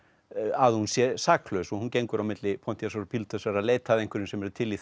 að hún sé saklaus og hún gengur á milli Pontíusar og Pílatusar að leita að einhverjum sem eru til í